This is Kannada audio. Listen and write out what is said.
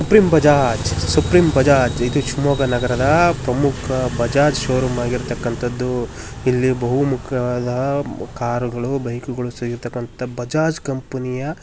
ಸುಪ್ರೀಂ ಬಜಾಜ್ ಸುಪ್ರೀಂ ಬಜಾಜ್ ಇದು ಶಿವಮೊಗ್ಗ ನಗರದ ಪ್ರಮುಖ ಬಜಾಜ್ ಪ್ರಮುಖ ಶೋರೂಮ್ ಆಗಿರತಕ್ಕಂತದ್ದು ಇಲ್ಲಿ ಬಹು ಮುಖ್ಯವಾದ ಕಾರುಗಳು ಬೈಕುಗಳು ಸಿಗುವಂತಹ ಬಜಾಜ್ ಕಂಪನಿಯ --